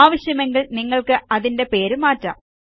ആവശ്യമെങ്കിൽ നിങ്ങൾക്ക് അതിന്റെ പേര് മാറ്റാം